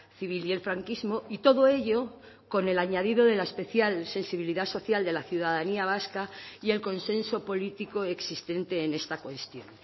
civil y el franquismo y todo ello con el añadido de la especial sensibilidad social de la ciudadanía vasca y el consenso político existente en esta cuestión